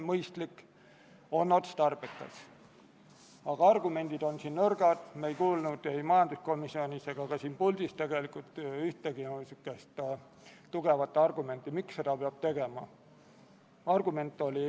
Keeletoimetaja soovitusel asendati sõnad "nõustamis- ja väljaõppemissiooni" sõnadega "väljaõppe- ja nõustamismissioonil", selleks et otsuse eelnõu tekst ühtiks otsuse eelnõu pealkirjaga.